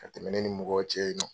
Ka tɛmɛ ne ni mɔgɔw cɛ yen nɔ.